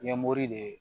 Ɲɛmɔgɔ de ye